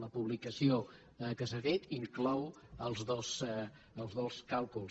la publicació que s’ha fet inclou els dos càlculs